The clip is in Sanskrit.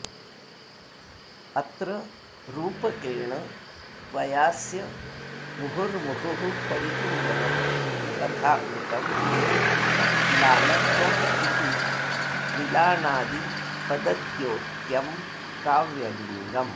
अत्र रूपकेण त्वयास्य मुहुर्मुहुः परिचुम्बनं तथा कृतम् येन म्लानत्वमिति मिलाणादिपदद्योत्यं काव्यलिङ्गम्